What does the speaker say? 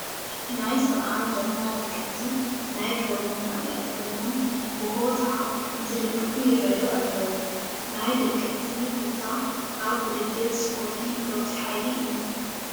ናይ ሰብዓ እንድርታ ደገፍቲ ናይ ክለቦም ማልያ ተኸዲኖም ብሆታ እንትድግፉ ይርአዩ ኣለዉ፡፡ ናይ ደገፍቲ ሆታ ኣብ ውድድር ስፖርቲ ለዋጢ ሓይሊ እዩ፡፡